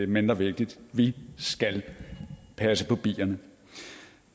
mindre vigtigt vi skal passe på bierne